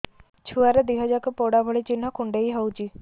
ଛୁଆର ଦିହ ଯାକ ପୋଡା ଭଳି ଚି଼ହ୍ନ କୁଣ୍ଡେଇ ହଉଛି